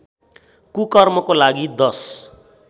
कुकर्मको लागि दश